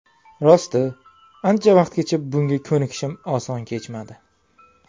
Rosti, ancha vaqtgacha bunga ko‘nikishim oson kechmadi.